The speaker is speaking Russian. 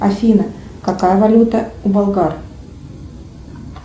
афина какая валюта у болгар